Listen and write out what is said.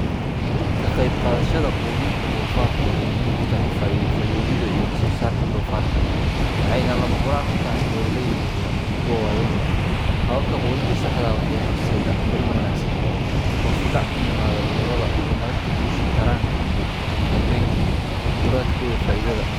Kaqeb qadasha qudinta dofarku wxay muhim utahay fayowids iyo wax so sarka dofarka ,wxay na lamahuran u tahay beraleyda yaryar iyo kuwa wawenba hawababka qudinta saxda waxey horseda korin wanagsan hos u dac kuimado cudurada hormarinta gusha taranka iyo ugudambeyntu kurad koda faidada.